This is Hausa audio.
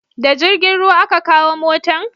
Da jirgin ruwa a ka kawo motan?